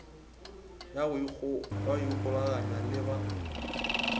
ya go ikgolaganya le ba